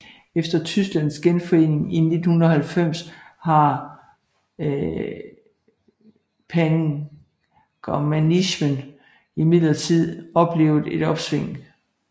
Efter Tysklands genforening i 1990 har pangermanismen imidlertid oplevet et opsving